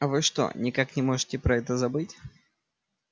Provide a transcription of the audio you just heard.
вы что никак не можете про это забыть